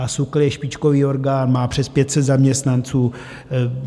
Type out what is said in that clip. A SÚKL je špičkový orgán, má přes 500 zaměstnanců.